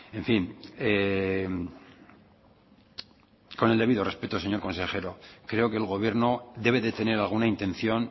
en fin con el debido respeto señor consejero creo que el gobierno debe de tener alguna intención